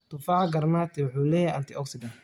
Tufaaxa granati wuxuu leeyahay antioxidants.